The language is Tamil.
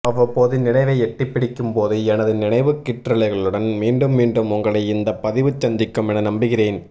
அவ்வப்போது நினவை எட்டிப் பிடிக்கும்போது எனது நினைவுக் கீற்றலைகளுடன் மீண்டும் மீண்டும் உங்களை இந்த பதிவு சந்திக்கும் என நம்புகிறேன்